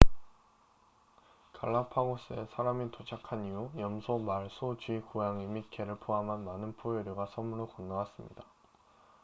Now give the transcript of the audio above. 갈라파고스에 사람이 도착한 이후 염소 말 소 쥐 고양이 및 개를 포함한 많은 포유류가 섬으로 건너왔습니다